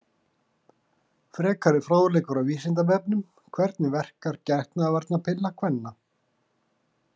Frekari fróðleikur á Vísindavefnum: Hvernig verkar getnaðarvarnarpilla kvenna?